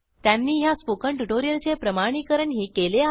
त्यांनी ह्या स्पोकन ट्युटोरियलचे प्रमाणिकरणही केले आहे